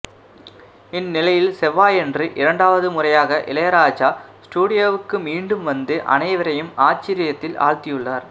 இந்நிலையில் செவ்வாயன்று இரண்டாவது முறையாக இளையராஜா ஸ்டூடியோவுக்கு மீண்டும் வந்து அனைவரையும் ஆச்சரியத்தில் ஆழ்த்தியுள்ளார்